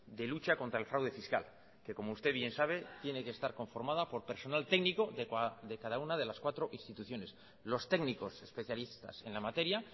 de lucha contra el fraude fiscal que como usted bien sabe tiene que estar conformada por personal técnico de cada una de las cuatro instituciones los técnicos especialistas en la materia